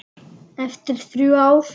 Eftir þrjú ár.